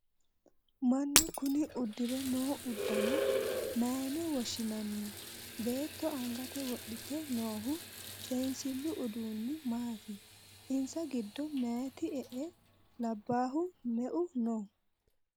Manu kunni udire noo udano mayine woshinnanni beetto angate wodhite noohu seensilu uduunni maati? Insa gido mayiti e"e labaahu me"eu no?